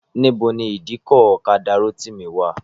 Níbo ni ìdíkọ̀ ọ̀kadà Rótìmí wà?